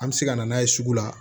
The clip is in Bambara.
An bɛ se ka na n'a ye sugu la